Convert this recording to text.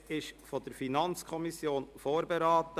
Das Gesetz wurde von der FiKo vorberaten.